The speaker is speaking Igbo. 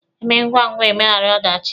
Emee ngwangwa emeghara ọdachị.